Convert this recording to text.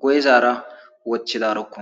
guye zaara woththidaroko.